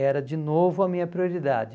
Era de novo a minha prioridade.